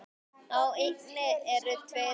Á eynni eru tveir vitar.